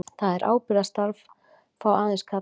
Það ábyrgðarstarf fá aðeins karlar.